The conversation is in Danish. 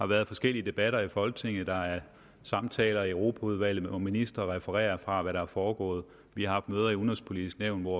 været forskellige debatter i folketinget der er samtaler i europaudvalget hvor ministre refererer fra hvad der er foregået vi har haft møder i det udenrigspolitiske nævn hvor